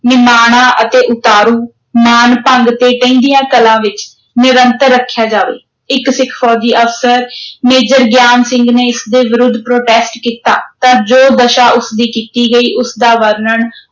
ਨਿਮਾਣਾ ਅਤੇ ਉਤਾਰੂ ਮਾਨਭੰਗ ਤੇ ਢਹਿੰਦੀਆਂ ਕਲਾਂ ਵਿਚ, ਨਿਰੰਤਰ ਰੱਖਿਆ ਜਾਵੇ, ਇਕ ਸਿੱਖ ਫ਼ੌਜੀ ਅਫ਼ਸਰ ਮੇਜਰ ਗਿਆਨ ਸਿੰਘ ਨੇ ਇਸ ਦੇ ਵਿਰੁੱਧ protest ਕੀਤਾ ਤਾਂ ਜੋ ਦਸ਼ਾ ਉਸ ਦੀ ਕੀਤੀ ਗਈ, ਉਸ ਦਾ ਵਰਣਨ